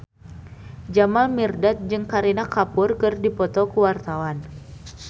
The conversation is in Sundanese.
Jamal Mirdad jeung Kareena Kapoor keur dipoto ku wartawan